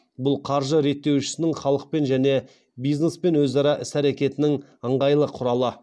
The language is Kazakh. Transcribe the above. бұл қаржы реттеушісінің халықпен және бизнеспен өзара іс әрекетінің ыңғайлы құралы